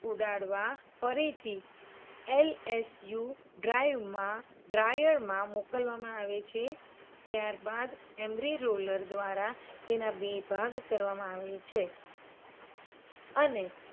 ઉડાડવા ફરીથી LSU drive માં dryer માં મોકલવામાં આવે છે. ત્યારબાદ એમ્રિ roller દ્વારા તેના બે ભાગા કરવામાં આવે છે. અને